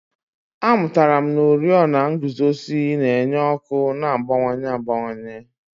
Amụtara m na oriọna nguzozi na-enye ọkụ a na-agbanwe agbanwe.